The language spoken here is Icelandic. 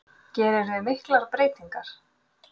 Gerirðu miklar breytingar?